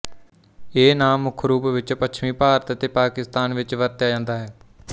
ਇਹ ਨਾਂ ਮੁੱਖ ਰੂਪ ਵਿੱਚ ਪੱਛਮੀ ਭਾਰਤ ਅਤੇ ਪਾਕਿਸਤਾਨ ਵਿੱਚ ਵਰਤਿਆ ਜਾਂਦਾ ਹੈ